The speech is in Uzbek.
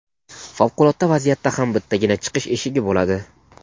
favqulodda vaziyatda ham bittagina "chiqish eshigi" bo‘ladi.